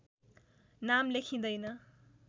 नाम लेखिँदैन